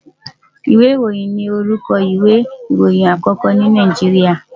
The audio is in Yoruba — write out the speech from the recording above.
Ìwé ìròhìn ni orúkọ ìwé ìròyìn àkókó ní Nàìjíríà.